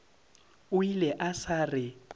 o ile a sa re